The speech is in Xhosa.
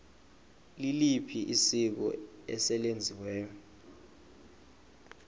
liliphi isiko eselenziwe